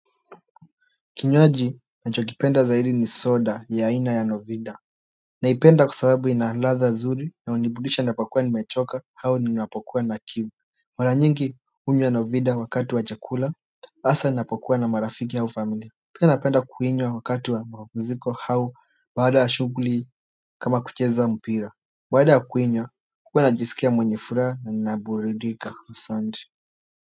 Kinywaji nachokipenda zaidi ni soda ya aina ya novida naipenda kwa sababu ina ladha nzuri na huniburudisha napokuwa nimechoka au ninapokua na kiu mara nyingi hunywa novida wakati wa chakula hasa napokuwa na marafiki hau familia pia napenda kuinywa wakati wa mapuziko hau baada ya shughuli kama kucheza mpira baada ya kuinywa huwa najisikia mwenye furaha na ninaburidika asante.